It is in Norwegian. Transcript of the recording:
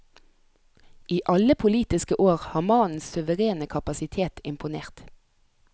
I alle politiske år har mannens suverene kapasitet imponert.